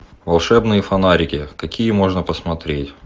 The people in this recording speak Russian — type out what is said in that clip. волшебные фонарики какие можно посмотреть